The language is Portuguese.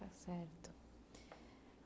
Tá certo.